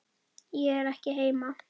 Ég er ekki heima